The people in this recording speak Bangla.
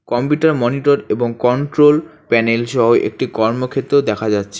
কম্পিউটার মনিটর এবং কন্ট্রোল প্যানেল সহ একটা কর্মক্ষেত্র দেখা যাচ্ছে।